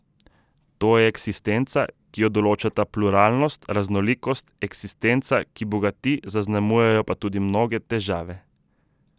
To je eksistenca, ki jo določata pluralnost, raznolikost, eksistenca, ki bogati, zaznamujejo pa jo tudi mnoge težave.